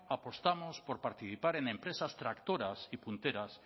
apostamos por participar en empresas tractoras y punteras